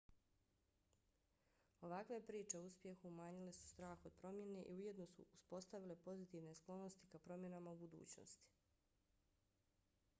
ovakve priče o uspjehu umanjile su strah od promjene i ujedno su uspostavile pozitivne sklonosti ka promjenama u budućnosti